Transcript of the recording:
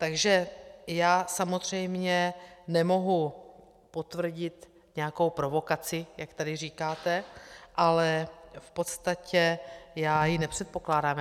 Takže já samozřejmě nemohu potvrdit nějakou provokaci, jak tady říkáte, ale v podstatě já ji nepředpokládám.